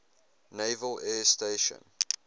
naval air station